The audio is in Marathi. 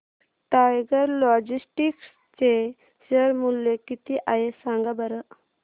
टायगर लॉजिस्टिक्स चे शेअर मूल्य किती आहे सांगा बरं